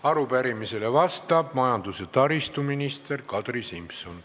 Arupärimisele vastab majandus- ja taristuminister Kadri Simson.